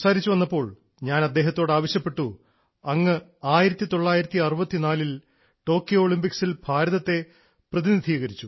സംസാരിച്ചുവന്നപ്പോൾ ഞാൻ അദ്ദേഹത്തോട് ആവശ്യപ്പെട്ടു അങ്ങ് 1964 ൽ ടോക്കിയോ ഒളിമ്പിക്സിൽ ഭാരതത്തെ പ്രതിനിധീകരിച്ചു